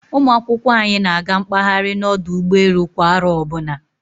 Ụmụ akwụkwọ anyị na-aga mkpahari na ọdụ ụgbọelu kwa aro ọbụna